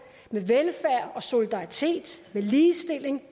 med velfærd solidaritet og ligestilling